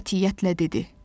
Qətiyyətlə dedi: